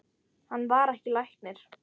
Hann var ekki læknir.